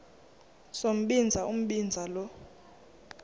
sombinza umbinza lo